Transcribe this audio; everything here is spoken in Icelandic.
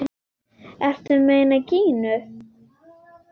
Ertu að meina Gínu?